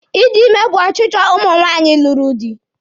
Ịdị ime bụ ọchịchọ ụmụ nwaanyị lụrụ di.